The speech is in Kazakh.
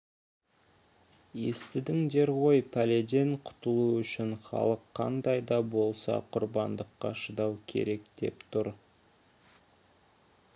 естідіңдер ғой пәледен құтылу үшін халық қандай да болса құрбандыққа шыдау керек деп тұр